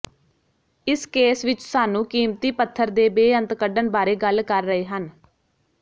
ਇਸ ਕੇਸ ਵਿਚ ਸਾਨੂੰ ਕੀਮਤੀ ਪੱਥਰ ਦੇ ਬੇਅੰਤ ਕੱਢਣ ਬਾਰੇ ਗੱਲ ਕਰ ਰਹੇ ਹਨ